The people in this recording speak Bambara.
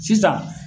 Sisan